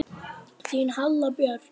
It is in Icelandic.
Þín Halla Björk.